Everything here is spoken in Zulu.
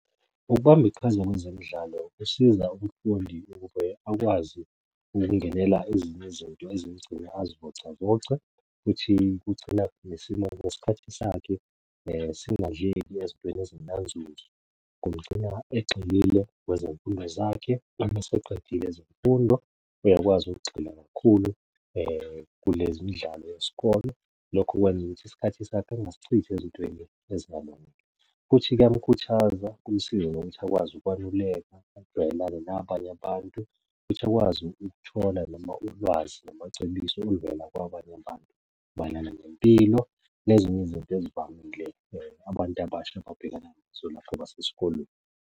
Ukubamba iqhaza kwezemidlalo kusiza umfundi ukuze akwazi ukungenela ezinye izinto ezimugcina azivocavoce, futhi kugcina nesimo nesikhathi sakhe singadleki ezintweni ezingenanzuzo. Kumgcina egxilile kwezemfundo zakhe, uma eseqedile ezemfundo uyakwazi ukugxila kakhulu kulezi imidlalo yesikole. Lokho kwenza ukuthi isikhathi sakhe engisichitha ezintweni ezingalungile, futhi kuyamukhuthaza kumsize nokuthi akwazi ukwaluleka ajwayelane nabanye abantu futhi akwazi ukuthola noma ulwazi namacebiso oluvela kwabanye abantu, mayelana nempilo nezinye izinto ezivamile abantu abasha ababhekana .